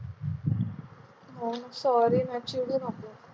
sorry ना चिडू नको.